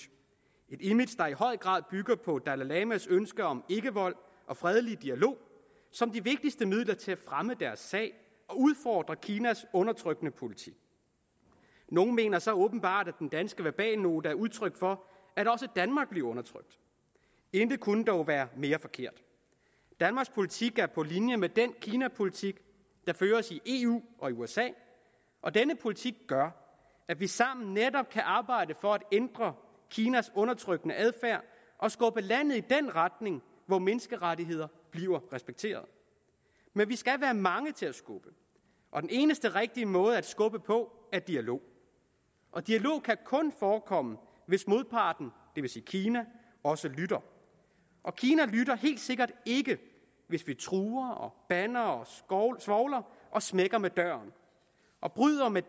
et image der i høj grad bygger på dalai lamas ønske om ikkevold og fredelig dialog som de vigtigste midler til at fremme deres sag og udfordre kinas undertrykkende politik nogle mener så åbenbart at den danske verbalnote er udtryk for at også danmark bliver undertrykt intet kunne dog være mere forkert danmarks politik er på linje med den kinapolitik der føres i eu og i usa og denne politik gør at vi sammen netop kan arbejde for at ændre kinas undertrykkende adfærd og skubbe landet i den retning hvor menneskerettigheder bliver respekteret men vi skal være mange til at skubbe og den eneste rigtige måde at skubbe på er dialog dialog kan kun forekomme hvis modparten det vil sige kina også lytter og kina lytter helt sikkert ikke hvis vi truer bander og svovler smækker med døren og bryder med